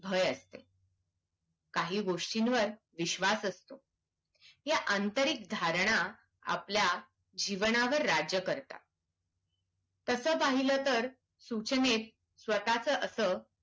भय असते काही गोस्टिंवर विश्वास असतो ह्या आंतरिक धारणा आपल्या जीवनावर राज्य करतात तसा पहिलं तर सूचनेत स्वतचा असा